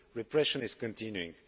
Repression is continuing.